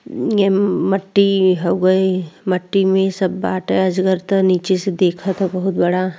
ये म्-मट्टी हउए। मट्टी में सब बाटै अजगर त नीचे से देख त बहुत बड़ा।